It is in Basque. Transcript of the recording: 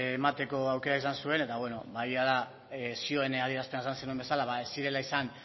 emateko aukera izan zuen eta bueno egia da zioaren adierazpenean esan zenuen bezala ez zirela izan